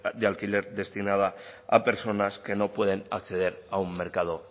de alquiler destinadas a personas que no pueden acceder a un mercado